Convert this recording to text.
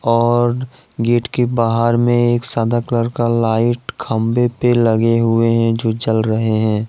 और गेट के बाहर में एक सादा कलर का लाइट खंभे पे लगे हुए हैं जो जल रहे हैं।